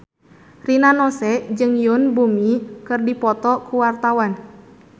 Rina Nose jeung Yoon Bomi keur dipoto ku wartawan